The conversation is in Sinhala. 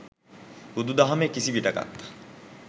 බුදු දහමේ කිසි විටෙකත්